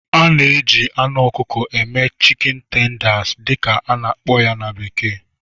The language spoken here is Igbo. A na-eji na anụ ọkụkọ eme"chicken tenders" dị ka a na-akpọ ya na bekee